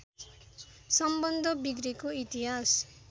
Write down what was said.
सम्बन्ध बिग्रेको इतिहास